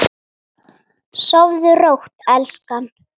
Sofðu rótt elskan.